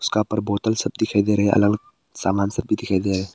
उसका ऊपर बोतल सब दिखाई दे रहा है अलग सामान सब दिखाई गया है।